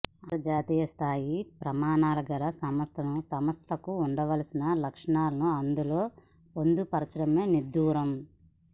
అంత ర్జాతీయ స్థాయి ప్రమాణాలు గల సంస్థలకు ఉండాల్సిన లక్షణా లను అందులో పొందుపరచడమే విడ్డూరం